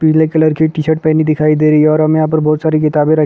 black colour की T shirt पहनी दिखाई दे रही हैं और हमें यहाँ पर बहुत सारी--